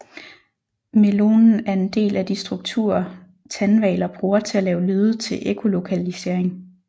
Melonen er en del af de strukturer tandhvaler bruger til at lave lyde til ekkolokalisering